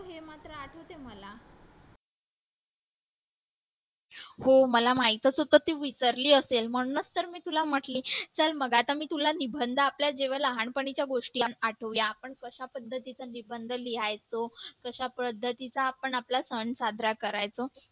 हो मला माहीतच होतं तू विसरली असेल म्हणूनच तर मी तुला म्हटले चल मग आता मी तुला निबंध आपल्या जेवढ्या लहानपणीच्या गोष्टी आठवूया आपण कशा पद्धतीचे निबंध लिहायचो कशा पद्धतीचा आपण आपला सण साजरा करायचो